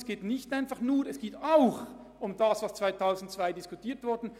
Es geht nicht nur darum, aber auch um das, was 2002 diskutiert wurde.